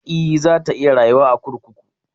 E, za ta iya rayuwa a kurkuku.